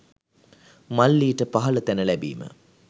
මල්ලීට පහල තැන ලැබීම